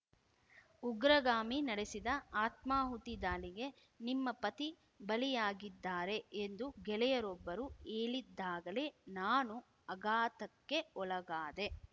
ಉಗ್ರಗಾಮಿ ನಡೆಸಿದ ಆತ್ಮಾಹುತಿ ದಾಳಿಗೆ ನಿಮ್ಮ ಪತಿ ಬಲಿಯಾಗಿದ್ದಾರೆ ಎಂದು ಗೆಳೆಯರೊಬ್ಬರು ಹೇಳಿದ್ದಾಗಲೇ ನಾನು ಅಘಾತಕ್ಕೆ ಒಳಗಾದೆ